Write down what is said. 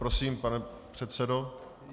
Prosím, pane předsedo.